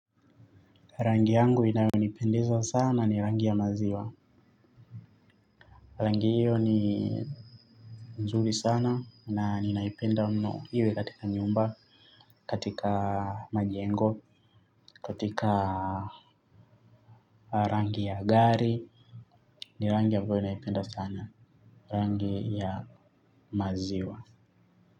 Rangi yangu inayo nipendeza sana ni rangi ya maziwa. Rangi hiyo ni mzuri sana na ninaipenda mno iwe katika nyumba, katika majengo, katika rangi ya gari. Ni rangi ya ambayo ninaipenda sana, rangi ya maziwa.